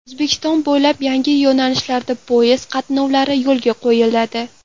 O‘zbekiston bo‘ylab yangi yo‘nalishlarda poyezd qatnovlari yo‘lga qo‘yiladi.